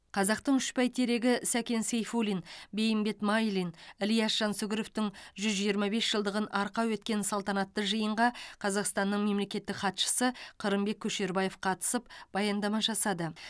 қазақтың үш бәйтерегі сәкен сейфуллин бейімбет майлин ілияс жансүгіровтің жүз жиырма бес жылдығын арқау еткен салтанатты жиынға қазақстанның мемлекеттік хатшысы қырымбек көшербаев қатысып баяндама жасады